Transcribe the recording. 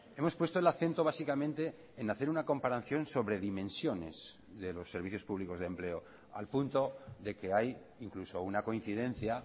hemos puesto el acento básicamente en hacer una comparación sobre dimensiones de los servicios públicos de empleo al punto de que hay incluso una coincidencia